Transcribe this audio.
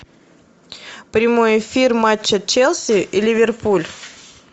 прямой эфир матча челси и ливерпуль